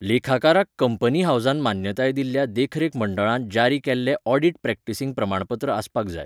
लेखाकाराक company हावसान मान्यताय दिल्ल्या देखरेख मंडळान जारी केल्लें ऑडिट प्रॅक्टीसिंग प्रमाणपत्र आसपाक जाय.